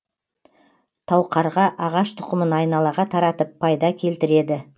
тауқарға ағаш тұқымын айналаға таратып пайда келтіреді